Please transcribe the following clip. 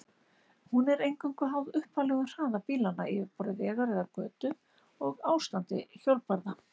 Hún er eingöngu háð upphaflegum hraða bílanna, yfirborði vegar eða götu og ástandi hjólbarða.